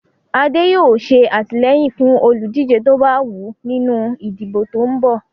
Adé yóò ṣe àtìlẹ́yìn fún olùdíje tó bá wù ú ní ìdìbò tó ń bọ́ ọ̀.